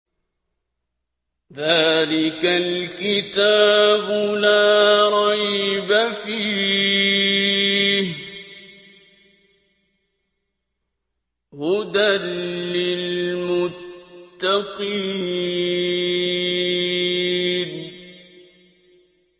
ذَٰلِكَ الْكِتَابُ لَا رَيْبَ ۛ فِيهِ ۛ هُدًى لِّلْمُتَّقِينَ